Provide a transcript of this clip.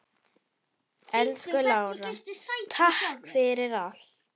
Elsku Lára, takk fyrir allt.